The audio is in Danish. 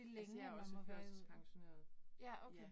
Altså jeg også førtidspensioneret. Ja